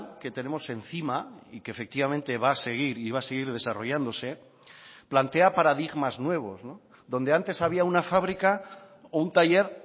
que tenemos encima y que efectivamente va a seguir y va a seguir desarrollándose plantea paradigmas nuevos donde antes había una fábrica o un taller